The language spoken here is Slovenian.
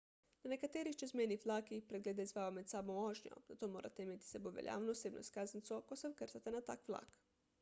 na nekaterih čezmejnih vlakih preglede izvajajo med samo vožnjo zato morate imeti s sabo veljavno osebno izkaznico ko se vkrcate na tak vlak